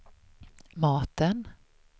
maten